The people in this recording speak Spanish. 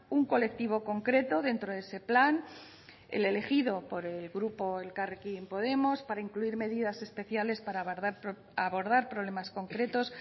un colectivo concreto dentro de ese plan el elegido por el grupo elkarrekin podemos para incluir medidas especiales para abordar problemas concretos